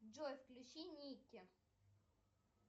джой включи никки